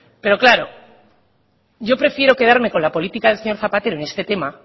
pero claro yo prefiero quedarme con la política del señor zapatero en este tema